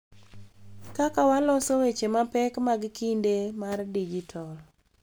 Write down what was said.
Kaka waloso weche mapek mag kinde mar dijital.